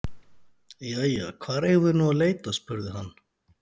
Jæja, hvar eigum við nú að leita? spurði hann.